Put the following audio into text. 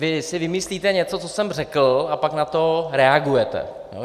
Vy si vymyslíte něco, co jsem řekl, a pak na to reagujete.